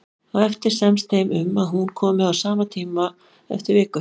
Á eftir semst þeim um að hún komi á sama tíma eftir viku.